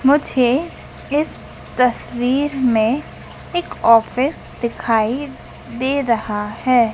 मुझे इस तस्वीर में एक ऑफिस दिखाई दे रहा है।